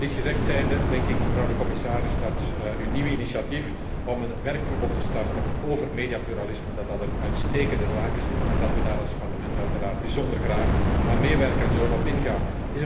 En dit gezegd zijnde denk ik, mevrouw de commissaris, dat uw nieuwe initiatief om een werkgroep op te starten over mediapluralisme een uitstekende zaak is en dat wij daar als Parlement uiteraard bijzonder graag aan meewerken en op in zullen gaan.